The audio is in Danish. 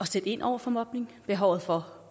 sætte ind over for mobning behovet for